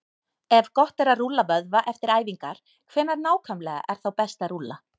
Ef gott er að rúlla vöðva eftir æfingar, hvenær nákvæmlega er þá best að rúlla?